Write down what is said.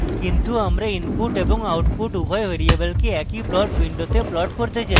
কিন্তু আমরা input এবং output উভয় ভ্যারিয়েবলকে একই plot window plot করতে চাই